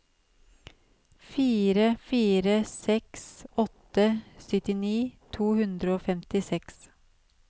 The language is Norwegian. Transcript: fire fire seks åtte syttini to hundre og femtiseks